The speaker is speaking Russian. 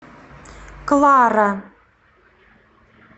клара